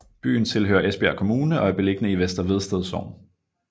Byen tilhører Esbjerg Kommune og er beliggende i Vester Vedsted Sogn